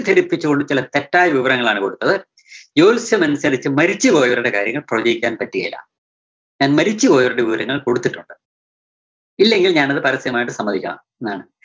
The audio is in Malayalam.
തെറ്റിദ്ധരിപ്പിച്ചുകൊണ്ട് ചിലർ തെറ്റായ വിവരങ്ങളാണ് കൊടുത്തത്, ജ്യോൽസ്യമനുസരിച്ച് മരിച്ചുപോയവരുടെ കാര്യങ്ങൾ പ്രവച്ചിക്കാന്‍ പറ്റുകേല. ഞാൻ മരിച്ചുപോയവരുടെ വിവരങ്ങൾ കൊടുത്തിട്ടുണ്ട്. ഇല്ലെങ്കിൽ ഞാൻ അത് പരസ്യമായിട്ട് സമ്മതിക്കണം ന്നാണ്